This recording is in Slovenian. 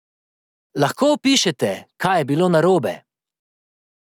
Lahko opišete, kaj je bilo narobe?